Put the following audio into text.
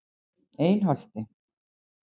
Einholti